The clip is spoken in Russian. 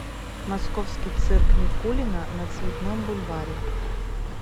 московский цирк никулина на цветном бульваре